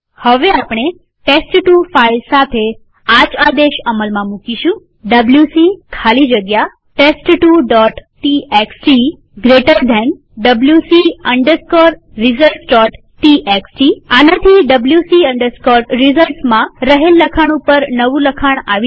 હવે આપણે ટેસ્ટ2 ફાઈલ સાથે આજ આદેશ અમલમાં મુકીશુંwc ખાલી જગ્યા test2ટીએક્સટી જમણા ખૂણાવાળો કૌંસ wc resultstxt આનાથી wc resultsમાં રહેલ લખાણ ઉપર નવું લખાણ આવી જશે